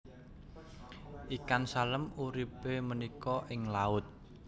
Ikan salem uripe punika ing laut